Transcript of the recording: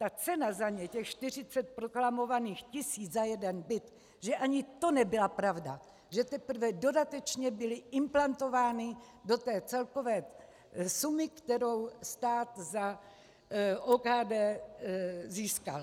ta cena za ně, těch 40 proklamovaných tisíc za jeden byt, že ani to nebyla pravda, že teprve dodatečně byly implantovány do té celkové sumy, kterou stát za OKD získal.